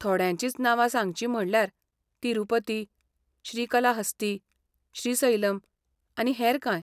थोड्यांचींच नांवां सांगचीं म्हणल्यार, तिरूपती, श्रीकलाहस्ती, श्रीसैलम आनी हेर कांय.